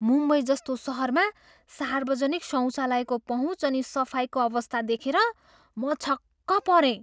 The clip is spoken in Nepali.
मुम्बईजस्तो सहरमा सार्वजनिक शौचालयको पहुँच अनि सफाइको अवस्था देखेर म छक्क परेँ।